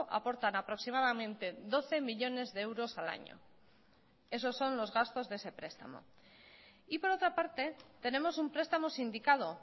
aportan aproximadamente doce millónes de euros al año esos son los gastos de ese prestamo y por otra parte tenemos un prestamo sindicado